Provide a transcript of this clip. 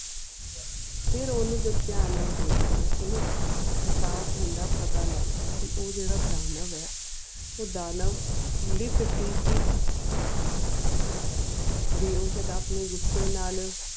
ਫਿਰ ਓਨੁ ਜਦ ਤੀਆਂ ਨਾਲ ਦਿਖਦੀਆਂ ਓਨੁ ਇਹਸਾਸ ਹੋਂਦ ਪਤਾ ਲੱਗਦਾ ਵੀ ਉਹ ਜੇਰਾ ਦਾਨਵ ਹੈ ਉਹ ਦਾਨਵ ਲਿਫਤਿਹੀ ਹੈ ਵੀ ਉਹ ਸ਼ਾਇਦ ਆਪਣੇ ਗੁਸੇ ਨਾਲ.